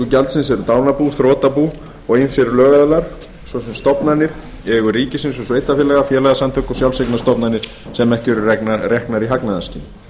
gjaldsins eru dánarbú þrotabú og ýmsir lögaðilar svo sem stofnanir í eigu ríkis og sveitarfélaga félagasamtök og sjálfseignarstofnanir sem ekki eru reknar í hagnaðarskyni